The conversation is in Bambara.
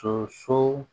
Sɔ so